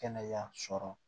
Kɛnɛya sɔrɔ